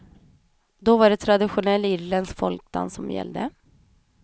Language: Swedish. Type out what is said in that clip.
Då var det traditionell irländsk folkdans som gällde.